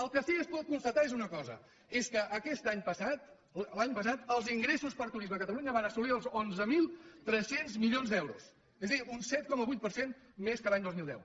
el que sí que es pot constatar és una cosa és que aquest any passat l’any passat els ingressos per turisme a catalunya van assolir els onze mil tres cents milions d’euros és a dir un set coma vuit per cent més que l’any dos mil deu